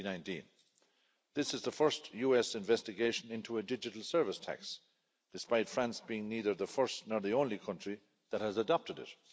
2019. This is the first US investigation into a digital service tax, despite France being neither the first nor the only country that has adopted it.